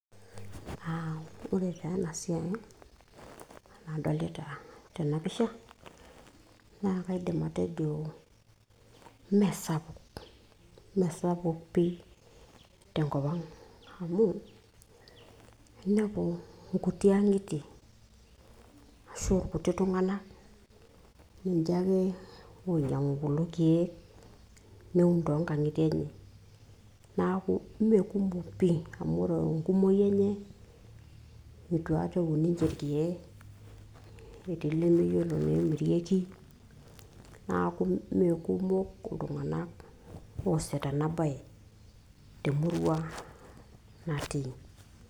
uh, ore taa ena siai nadolita tena pisha naa kaidim atejo meesapuk, meesapuk pii tenkop ang amu inepu inkuti ang'itie ashu irkuti tung'anak ninche ake oinyiang'u kulo kiek neun toonkang'itie enye naku imerkumok pii amu ore enkumoki enye itu aikata eun ninche irkeek netii lemeyiolo neemirieki naku mekumok iltung'anak oosita ena baye temurua natii.